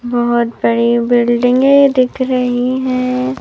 बहुत बड़ी बिल्डिंगे दिख रहीं है।